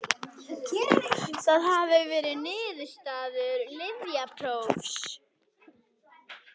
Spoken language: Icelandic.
Það hafi verið niðurstöður lyfjaprófs